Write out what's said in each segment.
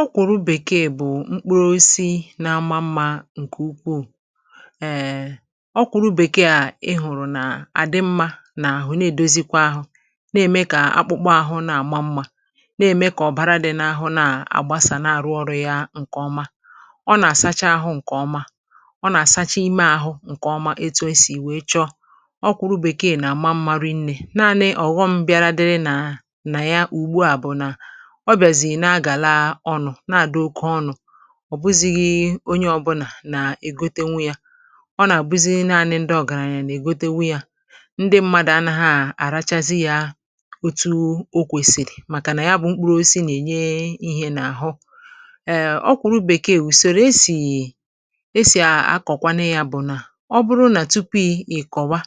ọkwụrụ bèkeè bụ mkpụrụ osisi n’ama mmȧ ǹkè ukwu(um) ọkwụrụ bèkeè a ihụ̀rụ̀ nà àdị mmȧ nà àhụ na-èdozikwa ahụ̇ na-ème kà akpụkpọ àhụ na-àma mmȧ na-ème kà ọ bara dị n’ahụ na-àgbasà na-àrụ ọrụ̇ ya ǹkèọma ọ nà-àsacha ahụ̇ ǹkèọma ọ nà-àsacha ime ahụ̇ ǹkèọma etu esì wèe chọọ ọkwụrụ bèkeè nà-àma mmarị nnė naanị ọ̀ghọm bịara dịrị nà nà ya ùgbu àbụ̀nà ọ bịàzìrì na-agà laa ọnụ̇ na-àdị oke ọnụ̇ ọ̀bụzịghị̇ onye ọ̇bụnà nà-ègotenwu ya ọ nà-àbụzi naȧnị̇ ndị ọ̀gàrȧnyȧ nà-ègotenwu ya ndị mmadụ̀ ana ha àrachazị yȧ otu okwèsìrì màkà nà ya bụ̇ mkpụrụ osisi nà-ènye ihė n’àhụ. ẹ o kwẹ̀rẹ bekee ùsòrò esì esì àkọ̀kwanụ yȧ bụ̀ nà ọ bụrụ nà tupu ị̀ kọ̀wa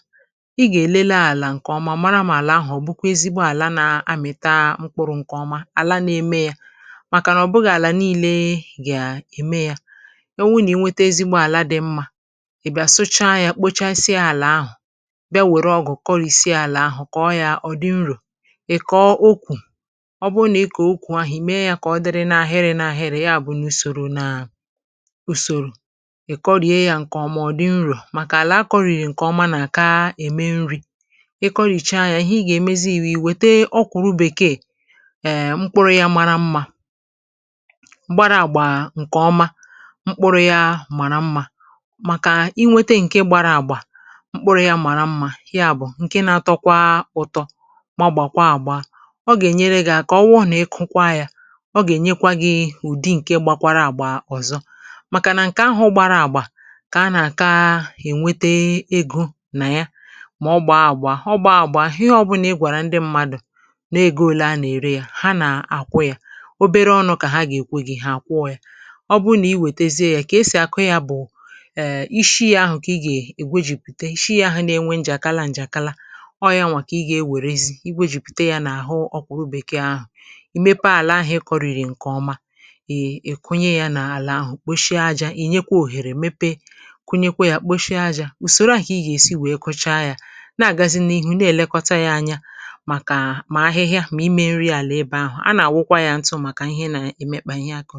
ị gà-èlele àlà ǹkè ọma mara mà àlà ahụ̀ ọ̀ bụkwa ezigbo àla nà-amị̀ta mkpụrụ̇ ǹkè ọma ala na eme ya, màkà nà ọ̀ bụghị̇ àlà ni̇leė ga emee ya, o nwụ nà ị nwete ezigbo àla dị̇ mmȧ ị̀ bịa sụcha yȧ kpochasịa àlà ahụ̀ bịa wère ọgụ̀ kọrìsịa àlà ahụ̀ kọ̀ọ yȧ ọ̀ dị nrò ị̀ kọọ okwù ọ bụrụ nà ị kọ̀ọ okwù ahị̀ mmee yȧ kọ̀ọ dịrị n’ahịrị n’ahịrị ya bụ̀ nà usòro nà usòrò ị̀ kọrìe yȧ ǹkè ọmụ̀ ọ̀ dị nrò màkà àlà a kọrìrì ǹkè ọma nà àkaà ème nri̇ ị kọrìchaa yȧ ihe ị gà-èmezi bù i wète ọkwụ̀ru bèkeè (um)mkpụrụ̇ ya màrà mmȧ gbara àgbà nkeoma mkpụrụ̇ ya màrà mmȧ maka inwete nke gbárá agba mkpụrụ ya mara mma ya bù ǹke nȧ-atọkwa ụ̀tọ maọ̀bàkwa àgbà a ọ gà-ènyere gị à kà ọwụọ nà ịkụkwa yȧ ọ gà-ènyekwa gị̇ ụ̀dị ǹke gbakwara àgbà ọ̀zọ màkà nà ǹkè ahụ̇ gbara àgbà kà a nà-àka ènwete egȯ nà ya mà ọ bàa àgbà ọ bàa àgbà ihe ọbụnà ịgwàrà ndị mmadù n’ego òle a nà-ère ya, ha na akwụ ya, obere ọṅụ̀ kà ha gà-èkwe gị̇ hà àkwọ yȧ. Ọbụrụ nà i wètezie yȧ kà esì àkụ yȧ bụ̀ (um)ishi yȧ ahụ̀ kà ị gà-èkwejìpùte ishi yȧ ahụ̀ na-enwe njàkala njàkala ọ̇ ya nwà kà ị gà-ewèrezi ikpe jùpùte yȧ n’àhụ ọkwà obèkè ahụ̀, ì mepe àlà ahụ̀ ị kọ̇rị̀rị̀ ǹkè ọma iii ị kụnye yȧ nà-àlà ahụ̀ kposhie ajȧ ì nyekwa òhèrè mepe kụnyekwa yȧ kposhie ajȧ ùsòro ahụ̀ kà ị gà-èsi wèe kọcha yȧ na-àgazi n’ihu na-èlekọta yȧ anya màkà mà ahịhịa, ma ime nri àlà ebe ahụ̀. A na- awukwa ya ntụ́ maka ihe na emekpa ihe akụ